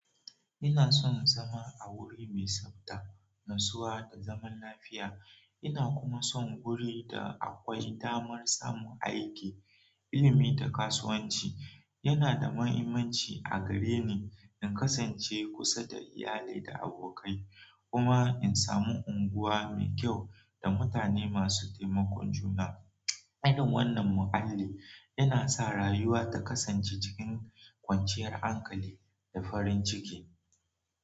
Ina son zama a wuri mai tsafta, natsuwa, da zaman lafiya. Ina kuma son wuri da akwai damar samun aiki, ilimi, da kasuwanci. Yana da mahimmanci a gare ni in kasance kusa da iyalai da abokai, kuma in samu unguwa mai kyau da mutane masu taimakon juna. Irin wannan mualli yana sa rayuwa ta kasance cikin kwanciyar ankali da farin ciki.